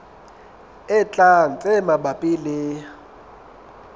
e tlang tse mabapi le